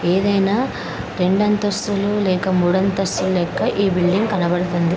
ఏదైనా రెండు అంతస్తులు లేక మూడు అంతస్తుల లెక్క ఈ బిల్డింగ్ కనబడుతుంది.